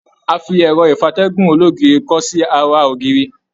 A fi ẹrọ ìfatẹ̀gún ologiri kọ sí àrà ògiri.